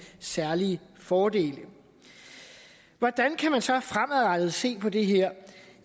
særlige fordele hvordan kan man så fremadrettet se på det her